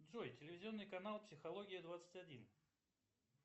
джой телевизионный канал психология двадцать один